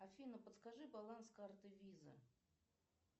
афина подскажи баланс карты виза